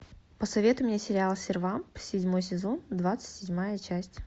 посоветуй мне сериал сервамп седьмой сезон двадцать седьмая часть